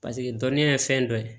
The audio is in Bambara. Paseke dɔnniya ye fɛn dɔ ye